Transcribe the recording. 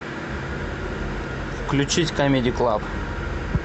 включить камеди клаб